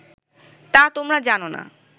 তা তোমরা জান না